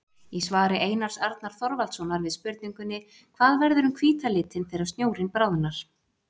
Í svari Einars Arnar Þorvaldssonar við spurningunni: Hvað verður um hvíta litinn þegar snjórinn bráðnar?